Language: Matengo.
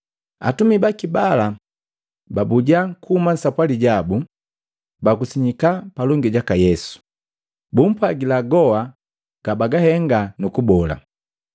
Atumi baki bala babuja kuhuma sapwali jabu, bakusanyika palongi jaka Yesu, bumpwagila goa gabahenga nu kubola.